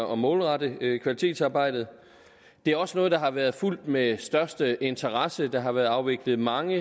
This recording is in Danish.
og målrette kvalitetsarbejdet det er også noget der har været fulgt med største interesse der har været afviklet mange